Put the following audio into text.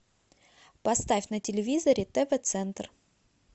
поставь на телевизоре тв центр